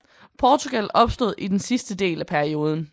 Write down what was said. Portugal opstod i den sidste del af perioden